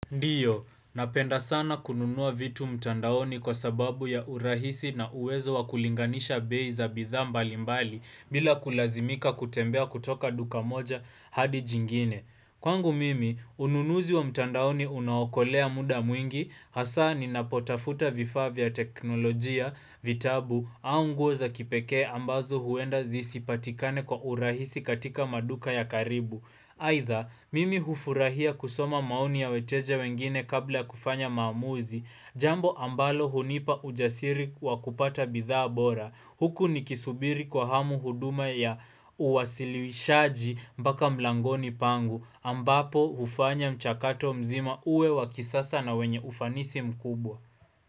Ndiyo, napenda sana kununua vitu mtandaoni kwa sababu ya urahisi na uwezo wakulinganisha bei za bidha mbali mbali bila kulazimika kutembea kutoka duka moja hadi jingine. Kwangu mimi, ununuzi wa mtandaoni unaokolea muda mwingi, hasa ni napotafuta vifaa vya teknolojia, vitabu, au nguo za kipekee ambazo huenda zisipatikane kwa urahisi katika maduka ya karibu. Haitha, mimi hufurahia kusoma maoni ya weteja wengine kabla ya kufanya maamuzi, jambo ambalo hunipa ujasiri wakupata bidhaa bora, huku nikisubiri kwa hamu huduma ya uwasiliwishaji mbaka mlangoni pangu, ambapo hufanya mchakato mzima uwe wakisasa na wenye ufanisi mkubwa.